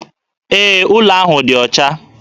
Ee, ụlọ ahụ dị ọcha